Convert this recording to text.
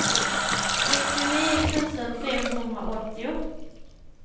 sextionio tusen femhundraåttio